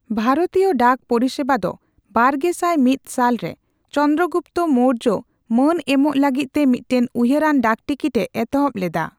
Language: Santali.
ᱵᱷᱟᱨᱚᱛᱤᱭᱚ ᱰᱟᱠ ᱯᱚᱨᱤᱥᱮᱵᱟ ᱫᱚ ᱵᱟᱨᱜᱮᱥᱟᱭ ᱢᱤᱛ ᱥᱟᱞ ᱨᱮ ᱪᱚᱱᱫᱨᱚ ᱜᱩᱯᱛᱚ ᱢᱳᱨᱡᱚ ᱢᱟᱹᱱ ᱮᱢᱚᱜ ᱞᱟᱹᱜᱤᱫ ᱛᱮ ᱢᱤᱫᱴᱟᱝ ᱩᱭᱦᱟᱹᱨᱟᱱ ᱰᱟᱠᱴᱤᱠᱤᱴ ᱮ ᱮᱛᱚᱦᱚᱵ ᱞᱮᱫᱟ ᱾